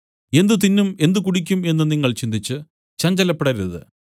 എന്ത് തിന്നും എന്ത് കുടിക്കും എന്നു നിങ്ങൾ ചിന്തിച്ചു ചഞ്ചലപ്പെടരുത്